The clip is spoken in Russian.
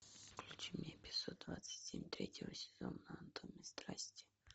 включи мне эпизод двадцать семь третьего сезона анатомия страсти